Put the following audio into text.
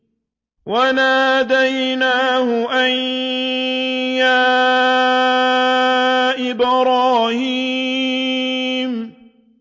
وَنَادَيْنَاهُ أَن يَا إِبْرَاهِيمُ